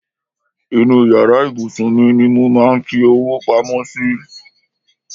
Inú yàrá ìbùsùn mi ni mo máa ń fi owó pamọ́ sí.